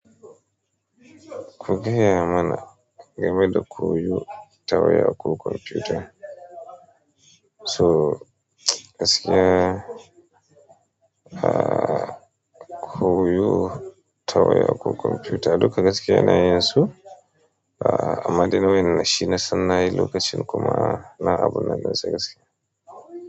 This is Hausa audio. Kuge ya mana game da koyo ta waya ko kwamfuta? To gaskiya, a, koyo ta waya ko kwamfuta duka gaskiya yana yin su, ah, amma dai wa yan da shi na san nayi lokacin kuma na abun nan ɗinsa gaskiya.